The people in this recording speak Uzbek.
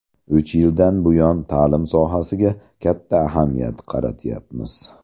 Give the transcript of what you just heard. Uch yildan buyon ta’lim sohasiga katta ahamiyat qaratyapmiz.